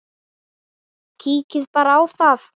Kíkið bara í þá!